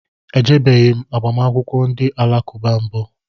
Ejebeghi m agbamakwụkwọ ndị alakụba mbụ